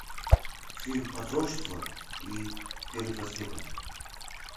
фильм отрочество и перед рассветом